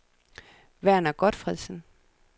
Verner Gotfredsen